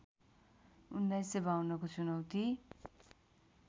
१९५२ को चुनौती